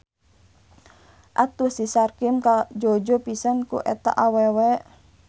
Atuh si Sarkim kajojo pisan ku eta awewe.